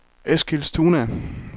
Eskilstuna